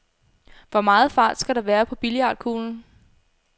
Hvor meget fart skal der være på billiardkuglen?